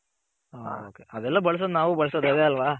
ಹ okay ಅದೆಲ್ಲ ಬಳ್ಸೋದ್ ನಾವು ಬಳ್ಸೋದ್ ಅದೆ ಅಲ್ವ.